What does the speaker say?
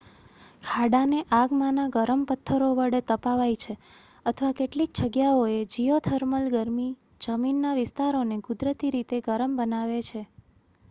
ખાડાને આગમાંના ગરમ પથ્થરો વડે તપાવાય છે અથવા કેટલીક જગ્યાઓએ જીઓથર્મલ ગરમી જમીનના વિસ્તારોને કુદરતી રીતે ગરમ બનાવે છે